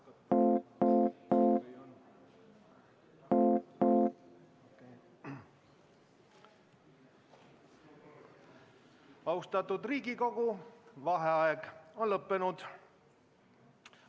Austatud Riigikogu, vaheaeg on lõppenud.